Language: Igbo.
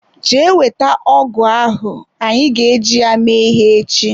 Jee wete ọgụ ahụ anyị ga e ji ya mee ihe ech!